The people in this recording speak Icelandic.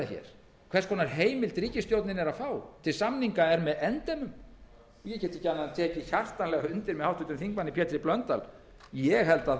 hér hvers konar heimild ríkisstjórnin er að fá til samninga er með endemum ég get ekki annað en tekið hjartanlega undir með háttvirtum þingmanni pétri h blöndal ég held